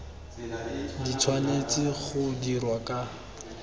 di tshwanetse go dirwa ka